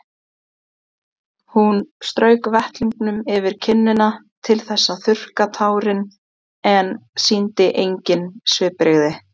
Hún strauk vettlingnum yfir kinnina til þess að þurrka tárin en sýndi engin svipbrigði.